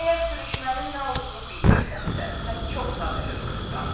Əgər sürüşmənin nə olduğunu bilmirsənsə, sən çox sadəlövh qızsan.